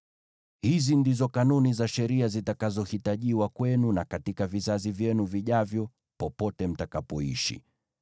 “ ‘Hizi ndizo kanuni za sheria zitakazohitajiwa kwenu na katika vizazi vyenu vijavyo, popote mtakapoishi.